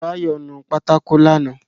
Báyọ̀ nu pátákó lánàá